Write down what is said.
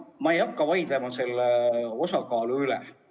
Ma ei hakka vaidlema selle osakaalu üle.